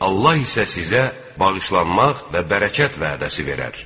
Allah isə sizə bağışlanmaq və bərəkət vədəsi verər.